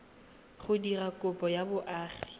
go dira kopo ya boagi